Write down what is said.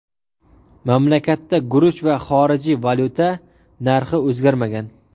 Mamlakatda guruch va xorijiy valyuta narxi o‘zgarmagan.